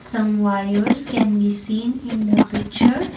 some wires can be seen in the picture.